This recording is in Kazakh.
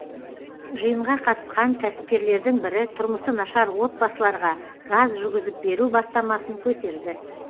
жиынға қатысқан кәсіпкерлердің бірі тұрмысы нашар отбасыларға газ жүргізіп беру бастамасын көтерді